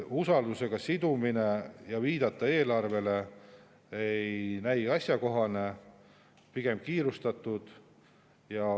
Usaldusega sidumine ja viide eelarvele ei näi asjakohane, pigem on sellega kiirustatud.